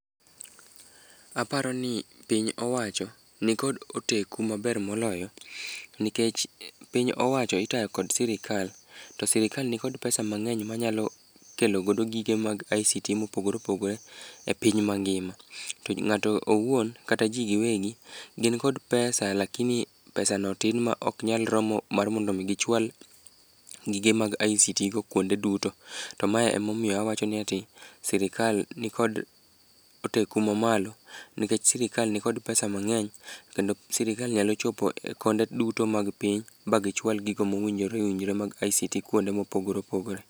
Aparo ni piny owacho nikod oteku maber moloyo nikech piny owacho itayo kod sirikal. To sirikal nikod pesa mang'eny manyalo kelo godo gige mag ICT mopogore opogore e piny mangima. Ng'ato owuon kata ji giwegi gin kod pesa lakini pesano tin ma ok nyal romo mar mondo gichwal gige mag ICT go kwonde duto. To mae emomiyo awacho ni sirikal nikod teko mamalo nikech sirikal nikod pesa mang'eny, kendo sirikal nyalo chopo e konde duto mag piny ba gichwal gigo mowinjore owinjore mag ICT kwonde mopogore opogore.